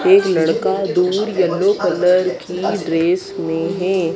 एक लड़का दूर येलो कलर की ड्रेस में है।